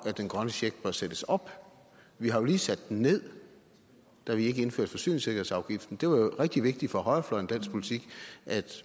den grønne check bør sættes op vi har jo lige sat den ned da vi ikke indførte forsyningssikkerhedsafgiften det var jo rigtig vigtigt for højrefløjen i dansk politik at